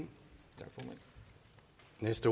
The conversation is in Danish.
mens